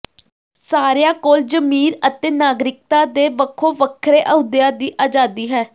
ਸਾਰਿਆਂ ਕੋਲ ਜ਼ਮੀਰ ਅਤੇ ਨਾਗਰਿਕਤਾ ਦੇ ਵੱਖੋ ਵੱਖਰੇ ਅਹੁਦਿਆਂ ਦੀ ਆਜ਼ਾਦੀ ਹੈ